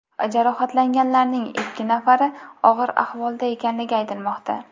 Jarohatlanganlarning ikki nafari og‘ir ahvolda ekanligi aytilmoqda.